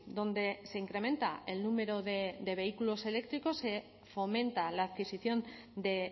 donde se incrementa el número de vehículos eléctricos se fomenta la adquisición de